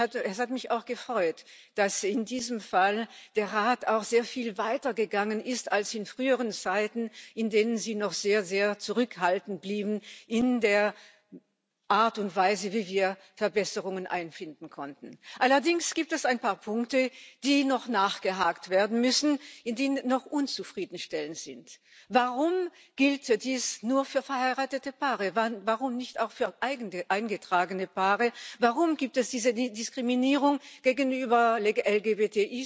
Und es hat mich auch gefreut, dass in diesem Fall der Rat auch sehr viel weiter gegangen ist als in früheren Zeiten, in denen er noch sehr, sehr zurückhaltend blieb in der Art und Weise, wie wir Verbesserungen einführen konnten. Allerdings gibt es ein paar Punkte, bei denen noch nachgehakt werden muss, die noch nicht zufriedenstellend sind. Warum gilt dies nur für verheiratete Paare, warum nicht auch für eingetragene Paare? Warum gibt es diese Diskriminierung zum Beispiel gegenüber LGBTIs,